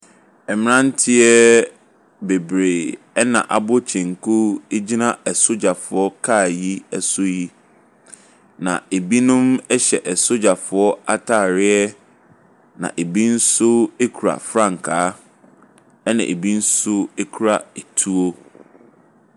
Mmaranteɛ bebree ɛna abɔ kyenku egyina asogyafoɔ car yi ɛso yi. Na ebinom ɛhyɛ asogyafoɔ ataareɛ na ebi nso ekura frankaa, ɛna ebi nso ekura etuo.